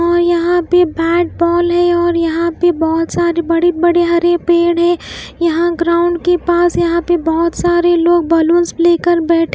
और यहाँ पे बैट बॉल है और यहाँ पे बहुत सारे बड़े-बड़े हरे पेड़ हैं यहाँ ग्राउंड के पास यहाँ पे बहुत सारे लोग बैलून्स लेकर बैठे --